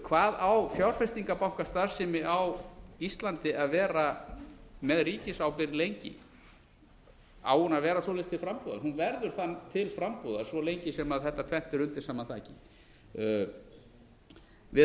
hvað á fjárfestingarbankastarfsemi á íslandi að vera með ríkisábyrgð lengi á hún að vera svoleiðis til frambúðar hún verður það til frambúðar svo lengi sem þetta tvennt er undir sama þaki við